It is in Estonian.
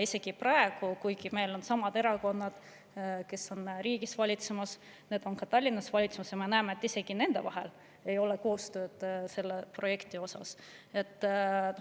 Isegi praegu – kuigi needsamad erakonnad, kes valitsevad riiki, valitsevad ka Tallinnas –, me näeme, et nende vahel ei ole koostööd selle projekti osas.